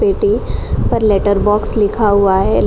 पेटी पर letter box लिखा हुआ है।